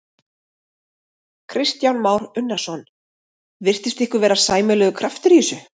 Kristján Már Unnarsson: Virtist ykkur vera sæmilegur kraftur í þessu?